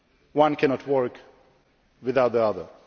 One cannot work without the other.